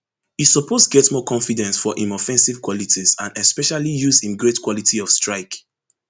e suppose get more confidence for im offensive qualities and especially use im great quality of strike